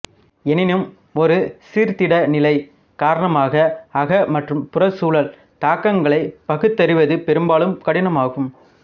எனினும் ஒருசீர்த்திடநிலை காரணமாக அக மற்றும் புறச்சூழல் தாக்கங்களைப் பகுத்தறிவது பெரும்பாலும் கடினமாகும்